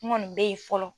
N kɔni bɛ yen fɔlɔ